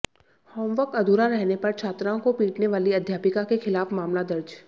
homework अधूरा रहने पर छात्राओं को पीटने वाली अध्यापिका के खिलाफ मामला दर्ज